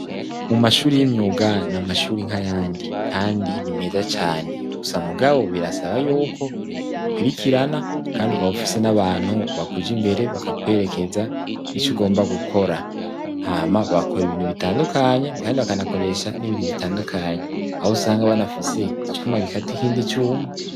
Mu mashuri y'imyuga na mashuri nkayandi kandi nimeza cane gusa mugabo birasaba yuko ukurikirana kandi ukabufisi n'abantu bakuja imbere bakakwerekeza ico ugomba gukora ama bakora ibintu bitandukanye kandi bakanakoresha n'ibintu bitandukanye aho usanga banafise icuma gikatikindi cuma.